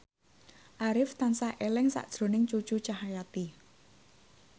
Arif tansah eling sakjroning Cucu Cahyati